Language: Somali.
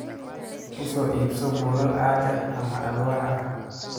U soo iibso buulal caag ah ama alwaax ah